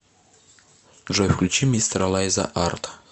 джой включи мистера лайза арт